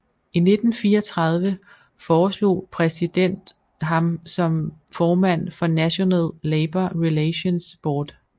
I 1934 foreslog præsident ham som formand for National Labor Relations Board